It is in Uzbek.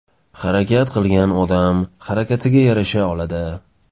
Harakat qilgan odam harakatiga yarasha oladi.